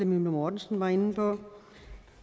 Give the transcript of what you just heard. mortensen var inde på